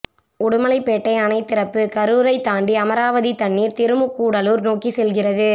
உடுமலைப்பேட்டை அணை திறப்பு கரூரை தாண்டி அமராவதி தண்ணீர் திருமுக்கூடலூர் நோக்கி செல்கிறது